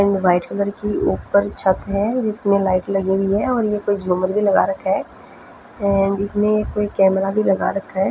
And white colour की ऊपर छत है जिसमे लाइट लगी हुई और ये कोई झूमर भी लगा रहखा है एंड इसमें कोई कैमरा भी लगा रखा है।